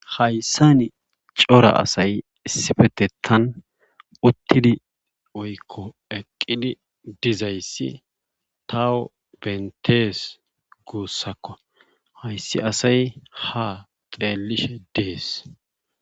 Hayssani cora asay issifetettan uttidi woykko eqqidi dizayssi taw benttees guussako hayssi asay haa xeellishe dees.